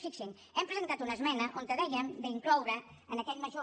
fixin s’hi hem presentat una esmena on dèiem d’incloure en aquest major